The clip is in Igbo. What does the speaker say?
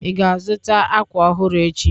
Ị ga-azụta akwa ọhụrụ echi?